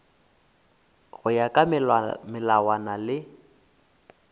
go ya ka melawana le